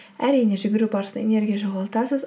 әрине жүгіру барысында энергия жоғалтасыз